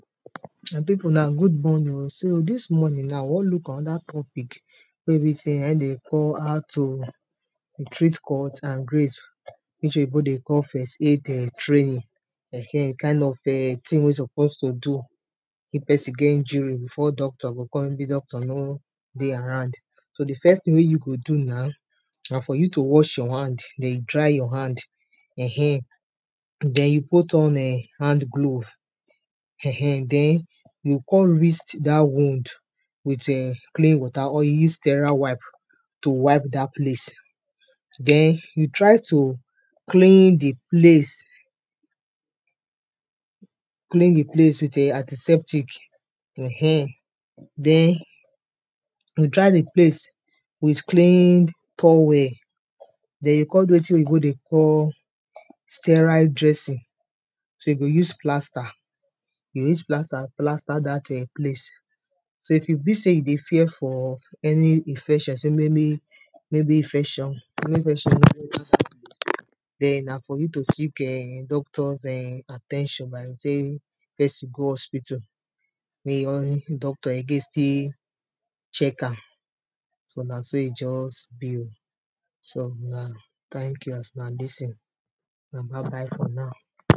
My pipu una good morning oh, so dis morning we wan look anoda topic wey be sey naim dem dey call how to treat cut and graze which oyibo dey call first aid training [urn] kind of tin wey you suppose to do if pesin get injury before doctor go come maybe doctor no dey around, so di first tin wey you go do now na for you to watch your hand den dry your hand [urn], den you put on hand glove [urn] den you go kon rinse dat wound with clean water or you use tera wipe to wipe dat place den you try to clean di place, clean di place with a antiseptic, den you dry di place with clean towel den you go kon do wetin oyibo dey call stera dressing so you go use plasta, you go use plasta plasta dat place so if you feel sey you dey fear for any infection sey maybe infection wey infection no go, den na for you to seek doctor's at ten tion by taking di pesin go hospital make im own doctor again still check am so na so e just be oh, so na tank you as una lis ten una bye bye for now.